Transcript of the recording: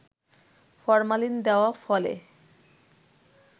formalin দেওয়া ফলে